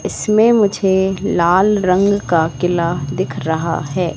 इसमें मुझे लाल रंग का किला दिख रहा है।